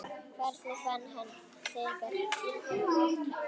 Hvernig fann hann þennan kraft?